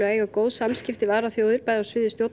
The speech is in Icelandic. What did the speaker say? að eiga góð samskipti við aðrar þjóðir bæði á sviði